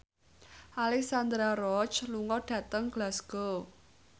Alexandra Roach lunga dhateng Glasgow